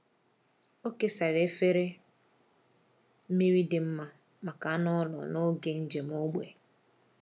Ọ kesara efere mmiri dị mma maka anụ ụlọ n’oge njem ógbè.